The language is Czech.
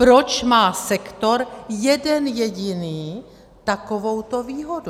Proč má sektor jeden jediný takovouto výhodu?